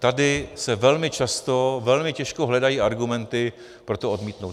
Tady se velmi často, velmi těžko hledají argumenty pro to odmítnout.